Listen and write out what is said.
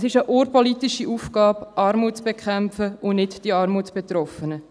Es ist eine urpolitische Aufgabe, Armut zu bekämpfen, und nicht die Armutsbetroffenen.